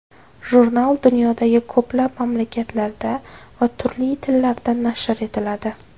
Jurnal dunyodagi ko‘plab mamlakatlarda va turli tillarda nashr etiladi.